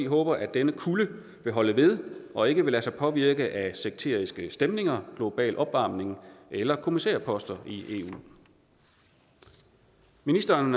håber at denne kulde vil holde ved og ikke vil lade sig påvirke af sekteriske stemninger global opvarmning eller kommissærposter i eu ministeren